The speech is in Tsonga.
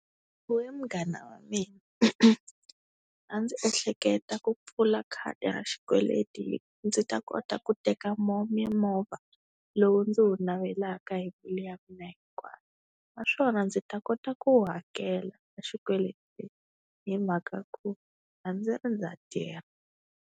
We munghana wa mina a ndzi ehleketa ku pfula khadi ra xikweleti, ndzi ta kota ku teka mimovha lowu ndzi wu navelaka hi mbilu ya mina hinkwayo. Naswona ndzi ta kota ku hakela xikweleti hi mhaka ku a ndzi ri ndza tirha.